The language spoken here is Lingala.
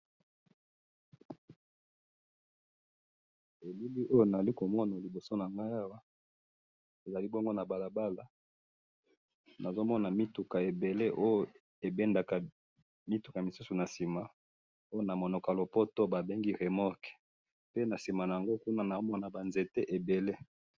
Elili oyo nazali komona liboso nangayi awa, ezali bongo nabalabala, nazomona mituka ebele oyo ebendaka mituka misusu nasima, oyo namunoko yalopoto babengi remorque, pe nasima naango kuna naomona banzete ebele.